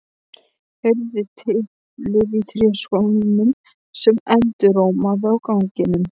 Heyrði tiplið í tréskónum sem endurómaði á ganginum.